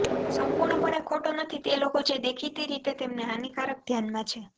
સંપૂર્ણપણે ખોટું નથી તે લોકો જે દેખીતી રીતે તેમને હાનિકારક ધ્યાનમાં છે